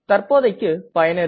தற்போதைக்கு பயனரின்